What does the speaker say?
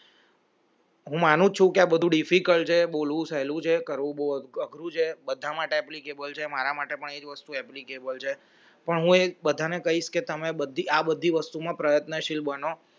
હું માનું છું કે આ બધું difficult છે બોલવું સહેલું છે કરવું બહુ અઘરું છે બધા માટે જ applicable મારા માટે પણ એજ વસ્તુ applicable છે પણ ઉહ એક બધાને કહીશ કે તમે બધી આ બધી વસ્તુ માં પ્રયત્નશીલ બનો